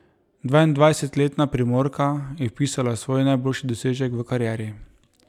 Dvaindvajsetletna Primorka je vpisala svoj najboljši dosežek v karieri.